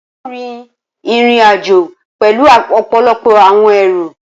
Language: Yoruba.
Rara, Emi kii yoo rin irin-ajo pẹlu ọpọlọpọ awọn ẹru.